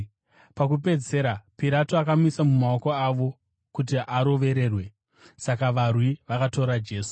Pakupedzisira Pirato akamuisa mumaoko avo kuti arovererwe. Kurovererwa kwaJesu Saka varwi vakatora Jesu.